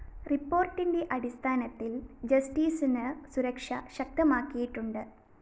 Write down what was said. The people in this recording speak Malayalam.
റിപ്പോര്‍ട്ടിന്റെ അടിസ്ഥാനത്തില്‍ ജസ്റ്റിസിന് സുരക്ഷ ശക്തമാക്കിയിട്ടുണ്ട്